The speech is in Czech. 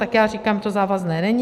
Tak já říkám, to závazné není.